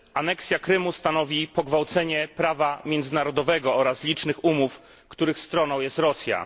Aneksja Krymu stanowi pogwałcenie prawa międzynarodowego oraz licznych umów, których stroną jest Rosja.